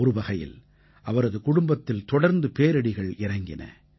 ஒருவகையில் அவரது குடும்பத்தில் தொடர்ந்து பேரிடிகள் இறங்கின